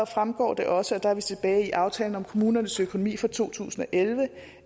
fremgår det også og der er vi tilbage i aftalen om kommunernes økonomi for to tusind og elleve